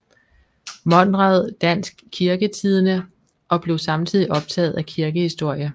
Monrad Dansk Kirketidende og blev samtidig optaget af kirkehistorie